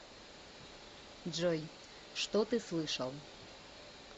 джой что ты слышал